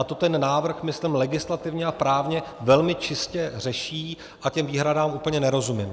A to ten návrh, myslím, legislativně a právně velmi čistě řeší a těm výhradám úplně nerozumím.